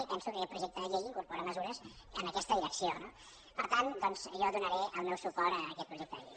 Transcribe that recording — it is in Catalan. i penso que aquest projecte de llei incorpora mesures en aquesta direcció no per tant doncs jo donaré el meu suport a aquest projecte de llei